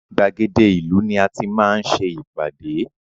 Gbàgede ìlú ni a tí máa ń ṣe ìpàdé